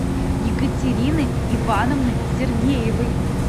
екатерины ивановны сергеевой